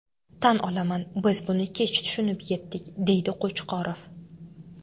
Tan olaman, biz buni kech tushunib yetdik”, deydi Qo‘chqorov.